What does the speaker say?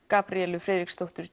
Gabríelu Friðriksdóttur